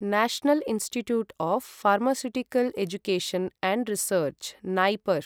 national institute of pharmaceutical education and research NIPER